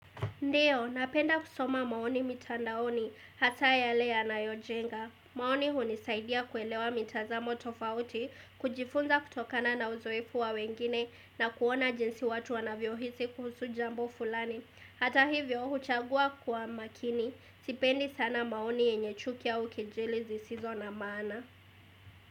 Ndiyo, napenda kusoma maoni mitandaoni hasa yale yana yojenga. Maoni huni saidia kuelewa mitazamo tofauti, kujifunza kutokana na uzoefu wa wengine na kuona jinsi watu wanavyo hisi kuhusu jambo fulani. Hata hivyo, huchagua kwa makini. Sipendi sana maoni yenye chuki au kejeli zisizo na maana.